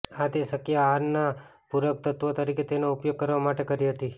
આ તે શક્ય આહારના પૂરકતત્ત્વ તરીકે તેનો ઉપયોગ કરવા માટે કરી હતી